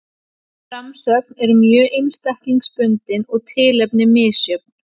Framsögn er mjög einstaklingsbundin og tilefni misjöfn.